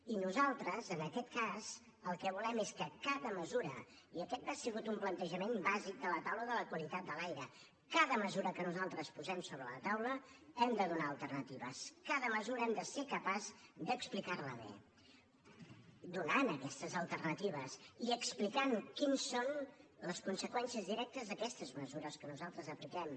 i nosaltres en aquest cas el que volem és i aquest ha sigut un plantejament bàsic de la taula de la qualitat de l’aire que per a cada mesura que nosaltres posem sobre la taula hem de donar hi alternatives cada mesura hem de ser capaços d’explicar la bé donant hi aquestes alternatives i explicar quines són les conseqüències directes d’aquestes mesures que nosaltres apliquem